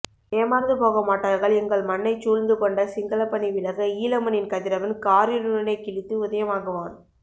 ஏமார்ந்துபோகாமாட்டார்கள் எங்கள் மண்ணைச்சூழ்ந்துகொண்ட சிங்களப்பனி விலக ஈழமண்ணின் கதிரவன் காரிருளினைக்கிழித்து உதயமாகுவான்